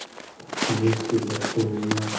в смысле за что меня